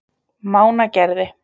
Mánagerði